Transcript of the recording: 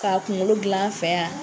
Ka kunkolo gilan an fɛ yan